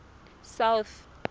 south